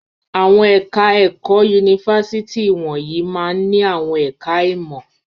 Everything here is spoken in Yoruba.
Àwọn ẹ̀ka-ẹ̀kọ́ yunifásitì wọ̀nyí máa ń ní àwọn ẹ̀ka-ìmọ̀.